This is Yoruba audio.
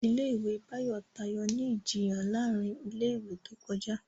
Ilé ìwé Bayo tayọ ní Ìjiyàn láàrin ilé ìwé tó kọjá.